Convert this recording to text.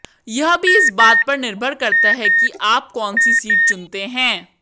यह भी इस बात पर निर्भर करता है कि आप कौन सी सीट चुनते हैं